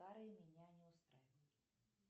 старые меня не устраивают